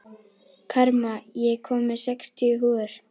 Karma, ég kom með sextíu húfur!